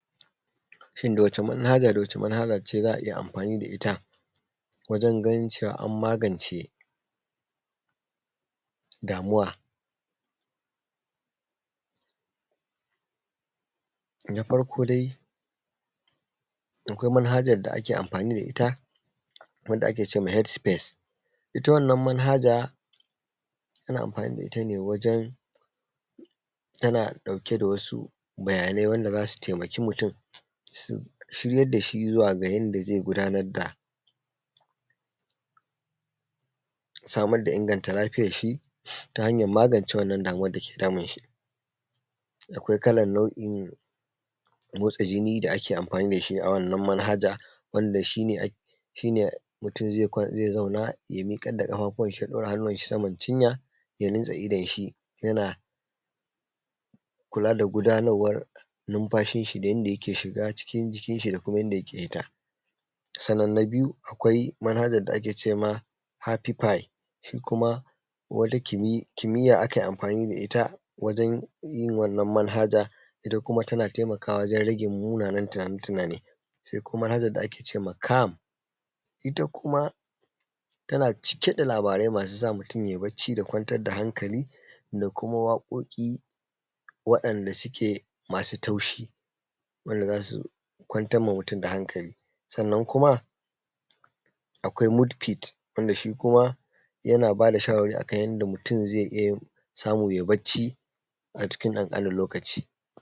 Shin da wace manhaja da manhaja ce za a iya amfani da ita wajen ganin an magance damuwa?. Na farko dai, akwai manhajan da ake amfani da ita wanda ake cema Head space. Ita wannan manhaja, ana amfani da ita ne wajan tana ɗauke da wasu bayanai wanda za su taimaki mutum, su shiryar da shi zuwa ga yanda zai gudanar da samar da inganta lafiyarshi, ta hanyar magance wannan damuwar dake damun shi. Akwai kalan nau’in motsa jini da ake amfani dashi a wannan manhaja, wanda shine shine mutun ze zauna, ya miƙar da kafafuwanshi ya ɗaura hannuwanshi sama cinya, ya runtse idonshi yana kula da gudanarwar numfashinshi da yanda yake shiga cikin jikinshi, da kuma yanda yake fita. Sannan na biyu, akwai manhajar da ake cema happy pie, shi kuma wata kimi kimiyya aka yi amfani da ita wajan yin wannan manhaja. Ita kuma tana taimakawa wajen rage munanen tunani-tunane. Se kuma manhajar da ake cema Calm, ita kuma tana cike da labarai masu sa mutum ya yi bacci da kwantar da hankali, da kuma waƙoƙi, wadanda suke masu taushi, wanda za su kwantarma mutum da hankali. Sannan kuma akwai Mode fit wanda shi kuma yana bada shawarwari akan yanda mutum zai iya samu ya yi bacci, a cikin ƙanƙanin lokaci.